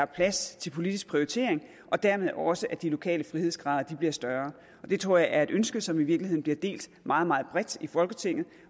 plads til politisk prioritering og dermed også at de lokale frihedsgrader bliver større det tror jeg er et ønske som i virkeligheden bliver delt meget meget bredt i folketinget